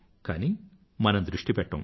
కానీ మనం దృష్టి పెట్టము